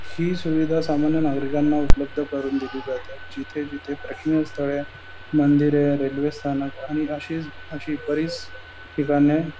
हि सुविधा सामान्य नागरिकांना उपलब्ध करू दिली जाते जिथे जिथे प्राशन स्थळे मंदिरे रेल्वे स्थानक आणि अशीच अशी बरीच ठिकाणे --